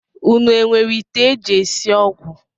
Unu enwere ite e ji esi ọgwụ